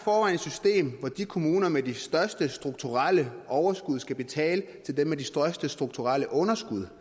system hvor de kommuner med de største strukturelle overskud skal betale til dem med de største strukturelle underskud